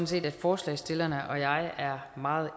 set at forslagsstillerne og jeg er meget